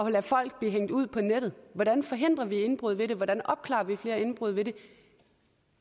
at lade folk blive hængt ud på nettet hvordan forhindrer vi indbrud ved det hvordan opklarer vi flere indbrud ved det